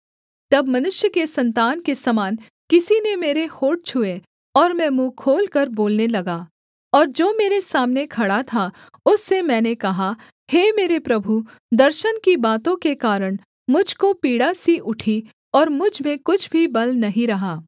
तब मनुष्य के सन्तान के समान किसी ने मेरे होंठ छुए और मैं मुँह खोलकर बोलने लगा और जो मेरे सामने खड़ा था उससे मैंने कहा हे मेरे प्रभु दर्शन की बातों के कारण मुझ को पीड़ासी उठी और मुझ में कुछ भी बल नहीं रहा